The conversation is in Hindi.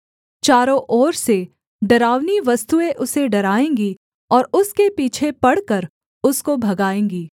चारों ओर से डरावनी वस्तुएँ उसे डराएँगी और उसके पीछे पड़कर उसको भगाएँगी